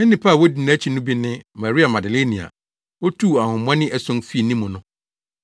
na nnipa a wodi nʼakyi no bi ne Maria Magdalene a otuu ahonhommɔne ason fii ne mu no